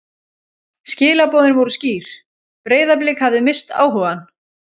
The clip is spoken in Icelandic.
Skilaboðin voru skýr: Breiðablik hafði misst áhugann.